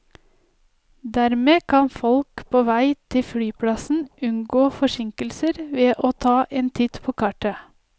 Dermed kan folk på vei til flyplassen unngå forsinkelser ved å ta en titt på kartet.